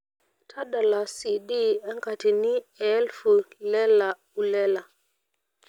tadala c. d enkatini ee elfu lela ulela